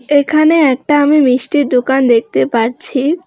এখানে একটা আমি মিষ্টির দোকান দেখতে পারছি।